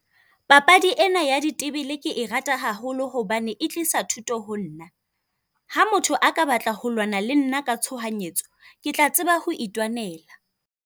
Papadi ena ya ditebele ke e rata haholo hobane e tlisa thuto ho nna. Ha motho a ka batla ho lwana le nna ka tshohanyetso, ke tla tseba ho itwanela.